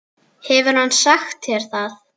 Hefur hann sagt þér það?